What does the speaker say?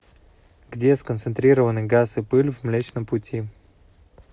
где сконцентрированы газ и пыль в млечном пути